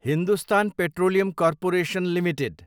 Hindustan petroleum corporation Ltd